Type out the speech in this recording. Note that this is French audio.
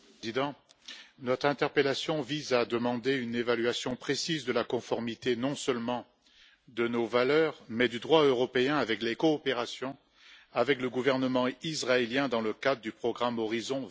Monsieur le Président, notre interpellation vise à demander une évaluation précise de la conformité non seulement à nos valeurs, mais aussi au droit européen des coopérations avec le gouvernement israélien dans le cadre du programme Horizon